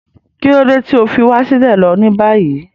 Kíni idi ti o fi wa silẹ lo ni bayi?